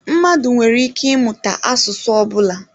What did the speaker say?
Mmadụ nwere ike ịmụta asụsụ ọ bụla.